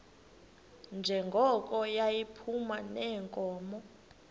njengoko yayiphuma neenkomo